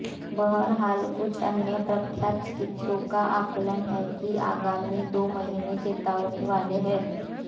बहरहाल कुछ अन्य प्रख्यात चिकित्सकों का आकलन है कि आगामी दो महीने चेतावनी वाले हैं